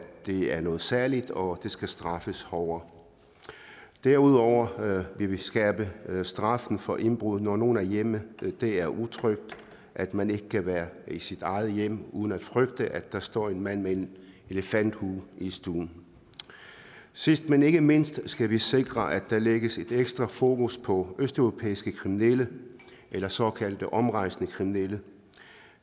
det er noget særligt og det skal straffes hårdere derudover vil vi skærpe straffen for indbrud nogen hjemme det er utrygt at man ikke kan være i sit eget hjem uden at frygte at der står en mand med en elefanthue i stuen sidst men ikke mindst skal vi sikre at der lægges et ekstra fokus på østeuropæiske kriminelle eller såkaldt omrejsende kriminelle